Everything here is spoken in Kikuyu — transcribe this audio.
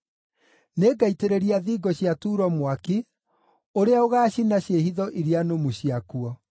Nĩngaitĩrĩria thingo cia Turo mwaki ũrĩa ũgaacina ciĩhitho iria nũmu ciakuo.”